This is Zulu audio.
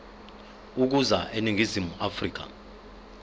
ukuza eningizimu afrika